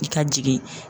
I ka jigin